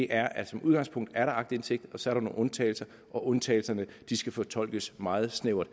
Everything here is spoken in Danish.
er at som udgangspunkt er der aktindsigt og så er nogle undtagelser og at undtagelserne skal fortolkes meget snævert